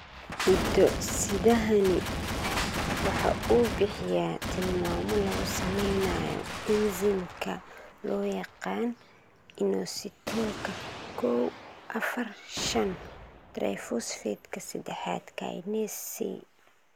Hiddo-sidahani waxa uu bixiyaa tilmaamo lagu samaynayo enzimka loo yaqaan inositolka kow, afar, shaan triphosphateka sedexaad kinase C.